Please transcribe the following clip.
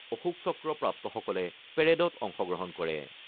অশোকচক্ৰ প্ৰাপ্তসকলে পেৰেডত অংশগ্ৰহণ কৰে।